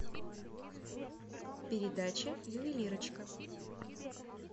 передача ювелирочка